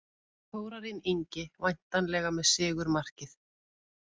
Þórarinn Ingi væntanlega með sigurmarkið.